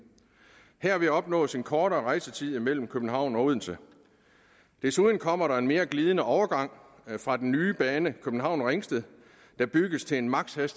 herved opnås en kortere rejsetid mellem københavn og odense desuden kommer der en mere glidende overgang fra den nye bane københavn ringsted der bygges til en maksimal